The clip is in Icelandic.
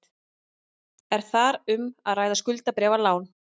Er þar um að ræða skuldabréfalán